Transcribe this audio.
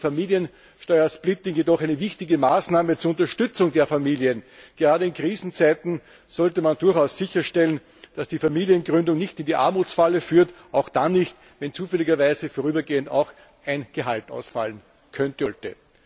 Für mich ist Familiensteuersplitting jedoch eine wichtige Maßnahme zur Unterstützung der Familien. Gerade in Krisenzeiten sollte man durchaus sicherstellen, dass die Familiengründung nicht in die Armutsfalle führt, auch dann nicht, wenn zufälligerweise vorübergehend ein Gehalt ausfallen sollte.